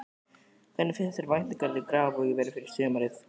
Hvernig finnst þér væntingarnar í Grafarvogi vera fyrir sumarið?